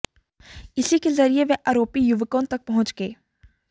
इसी के जरिए वे आरोपी युवकों तक पहुंच गए